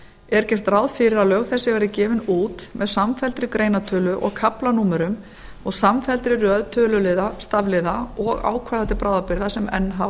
er gert ráð fyrir að lög þessi verði gefin út með samfelldri greinatölu og kaflanúmerum og samfelldri röð töluliða stafliða og ákvæða til bráðabirgða sem enn hafa